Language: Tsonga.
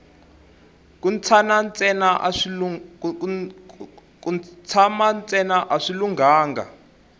ku tshana ntsena a swi lunghanga